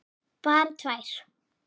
Bara tvær.